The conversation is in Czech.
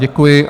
Děkuji.